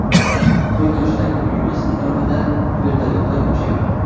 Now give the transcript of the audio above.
Qo‘y-Toshdagi uyimiz atrofida vertolyotlar uchyapti.